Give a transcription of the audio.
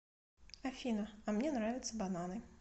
афина а мне нравятся бананы